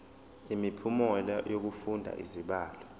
imiphumela yokufunda izibalo